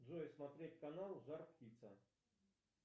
джой смотреть канал жар птица